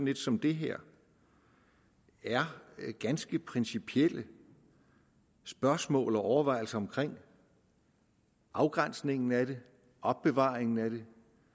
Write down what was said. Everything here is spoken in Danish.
et som det her er ganske principielle spørgsmål og overvejelser omkring afgrænsningen af det opbevaringen af det